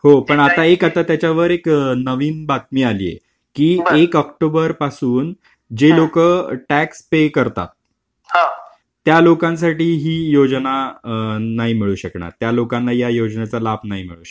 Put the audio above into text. हो पण आता एक आता त्याच्यावर एक नवीन बातमी आली आहे. एक ऑक्टोबर पासून जे लोक टॅक्स पे करतात त्या लोकांसाठी ही योजना नाही मिळू शकणार. त्या लोकांना या योजनेचा लाभ नाही मिळू शकणार.